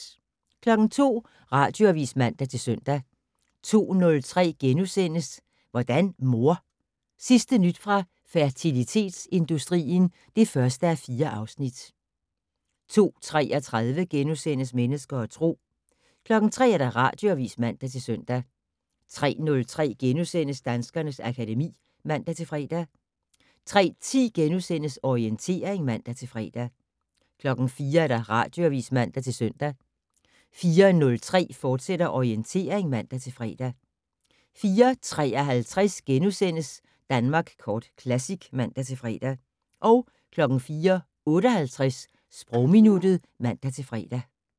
02:00: Radioavis (man-søn) 02:03: Hvordan mor? Sidste nyt fra fertilitetsindustrien (1:4)* 02:33: Mennesker og Tro * 03:00: Radioavis (man-søn) 03:03: Danskernes akademi *(man-fre) 03:10: Orientering *(man-fre) 04:00: Radioavis (man-søn) 04:03: Orientering, fortsat (man-fre) 04:53: Danmark Kort Classic *(man-fre) 04:58: Sprogminuttet (man-fre)